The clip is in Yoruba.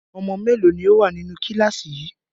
Ọmọ mélòó ni ó wà nínú kíláàsì yìí?